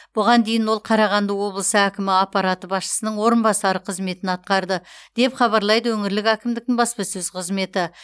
бұған дейін ол қарағанды облысы әкімі аппараты басшысының орынбасары қызметін атқарды деп хабарлайды өңірлік әкімдіктің баспасөз қызметі